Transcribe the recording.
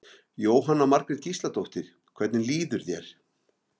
Jóhanna Margrét Gísladóttir: Hvernig líður þér?